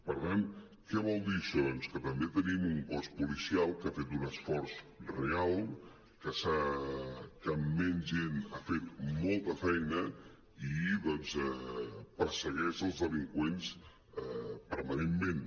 per tant què vol dir això doncs que també tenim un cos policial que ha fet un esforç real que amb menys gent ha fet molta feina i doncs persegueix els delin·qüents permanentment